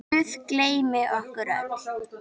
Guð geymi ykkur öll.